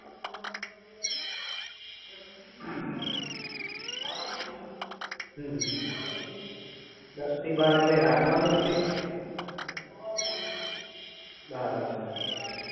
હમ હમ દસ થી બાર એટલે રાત ના દસ થી બાર બરાબર છે